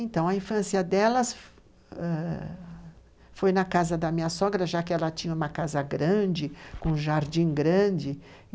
Então, a infância delas foi na casa da minha sogra, já que ela tinha uma casa grande, com um jardim grande.